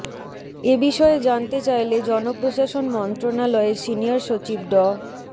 এ বিষয়ে জানতে চাইলে জনপ্রশাসন মন্ত্রণালয়ের সিনিয়র সচিব ড